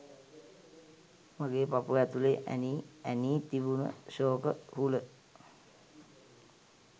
මගේ පපුව ඇතුලේ ඇනි ඇනී තිබුණ ශෝක හුල